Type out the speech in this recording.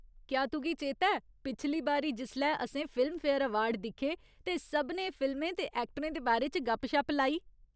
क्या तुगी चेता ऐ पिछली बारी जिसलै असें फिल्मफेयर अवार्ड दिक्खे ते सभनें फिल्में ते ऐक्टरें दे बारे च गप्प शप लाई ?